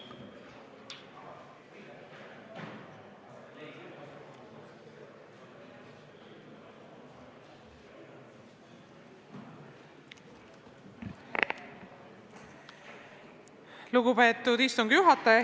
Lugupeetud istungi juhataja!